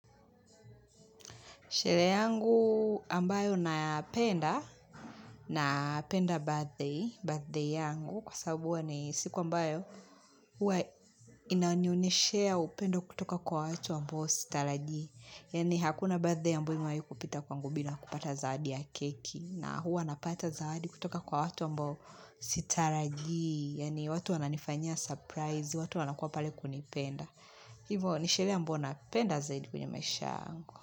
Sherehe yangu ambayo napenda, napenda birthday, birthday yangu, kwa sababu huwa ni siku ambayo huwa inanioneshea upendo kutoka kwa watu ambao sitarajii. Yani hakuna birthday ambayo imewahikupita kwangu bila kupata zawadi ya keki na huwa napata zawadi kutoka kwa watu ambao sitarajii. Yaani watu wananifanya surprise, watu wanakua pale kunipenda. Hivo ni sherehe ambayo napenda zaidi kwenye maisha.